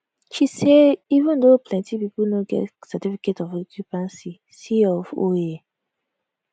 she say even though plenti pipo no get certificate of occupancy c of o e